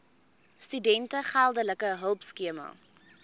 studente geldelike hulpskema